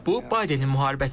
Bu Baydenin müharibəsidir.